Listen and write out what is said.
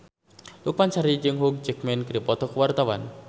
Lukman Sardi jeung Hugh Jackman keur dipoto ku wartawan